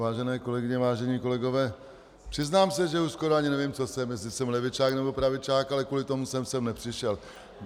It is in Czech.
Vážené kolegyně, vážení kolegové, přiznám se, že už skoro ani nevím, co jsem, jestli jsem levičák, nebo pravičák, ale kvůli tomu jsem sem nepřišel.